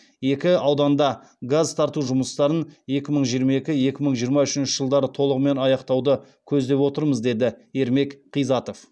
екі аудандада газ тарту жұмыстарын екі мың жиырма екі екі мың жиырма үшінші жылдары толығымен аяқтауды көздеп отырмыз деді ермек қизатов